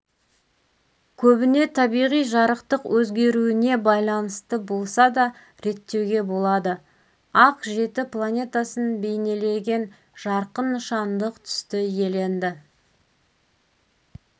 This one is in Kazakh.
көбіне табиғи жарықтық өзгеруіне байланысты болса да реттеуге болады ақ жеті планетасын бейнелеген жарқын нышандық түсті иеленді